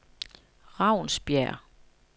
Ravnsbjerg